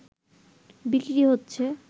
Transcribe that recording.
বিক্রি হচ্ছে